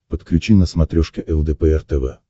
подключи на смотрешке лдпр тв